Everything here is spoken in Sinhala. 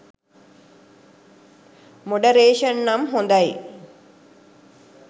මොඩරේෂන් නම් හොඳයි.